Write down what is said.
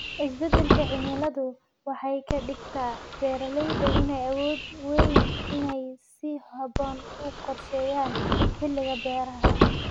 Isbeddelka cimiladu waxay ka dhigtaa beeralayda inay awoodi waayaan inay si habboon u qorsheeyaan xilliga beeraha.